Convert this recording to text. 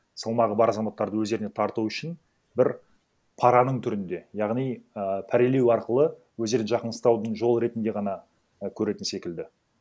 салмағы бар азаматтарды өздеріне тарту үшін бір параның түрінде яғни і пәрелеу арқылы өздерін жақын ұстаудың жолы ретінде ғана і көретін секілді